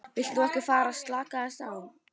Viltu nú ekki fara að slaka aðeins á!